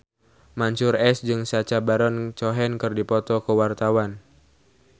Mansyur S jeung Sacha Baron Cohen keur dipoto ku wartawan